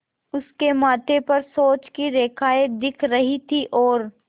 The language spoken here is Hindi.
उसके माथे पर सोच की रेखाएँ दिख रही थीं और